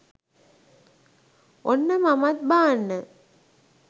ඔන්න මමත් බාන්න